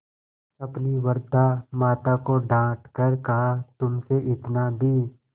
अपनी वृद्धा माता को डॉँट कर कहातुमसे इतना भी